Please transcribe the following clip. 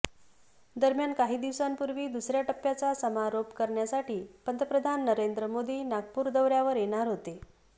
दरम्यान काही दिवसांपूर्वी दुसऱ्या टप्प्याचा समारोप करण्यासाठी पंतप्रधान नरेंद्र मोदी नागपूर दौऱ्यावर येणार होते